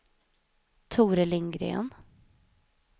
Tore Lindgren